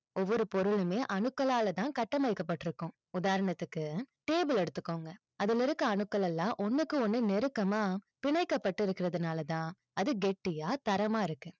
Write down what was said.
ஒவ்வொரு பொருளுமே அணுக்களால தான் கட்டமைக்கப்பட்டிருக்கும். உதாரணத்துக்கு table ல எடுத்துக்கோங்க. அதுல இருக்க அணுக்கள் எல்லாம் ஒண்ணுக்கு ஒண்ணு நெருக்கமா. பிணைக்கப்பட்டு இருக்கறதுனால தான், அது கெட்டியா தரமா இருக்கு.